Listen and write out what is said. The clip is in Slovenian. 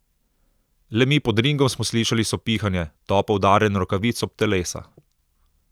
Le mi pod ringom smo slišali sopihanje, topo udarjanje rokavic ob telesa.